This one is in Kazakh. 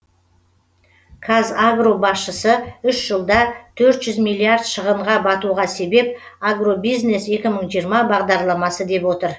қазагро басшысы үш жылда төрт жүз миллиард шығынға батуға себеп агробизнес екі мың жиырма бағдарламасы деп отыр